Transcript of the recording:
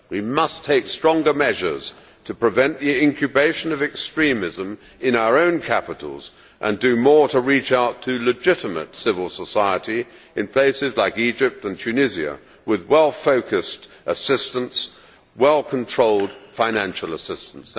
We must take stronger measures to prevent the incubation of extremism in our own capitals and do more to reach out to legitimate civil society in places like Egypt and Tunisia with well focused assistance, including well controlled financial assistance.